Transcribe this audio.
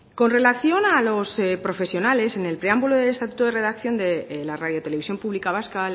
con relación a los profesionales en el preámbulo de estatuto de redacción de la radiotelevisión pública vasca